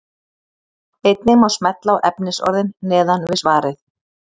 Einnig má smella á efnisorðin neðan við svarið.